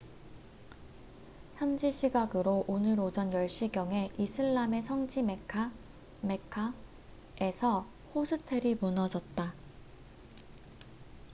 현지 시각으로 오늘 오전 10시경에 이슬람의 성지 메카mecca에서 호스텔이 무너졌다